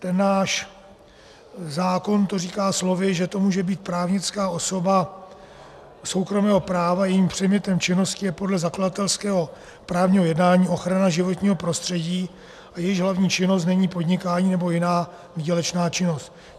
Ten náš zákon to říká slovy, že to může být právnická osoba soukromého práva, jejímž předmětem činnosti je podle zakladatelského právního jednání ochrana životního prostředí a jejíž hlavní činnost není podnikání nebo jiná výdělečná činnost.